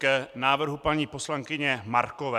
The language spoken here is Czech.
K návrhu paní poslankyně Markové.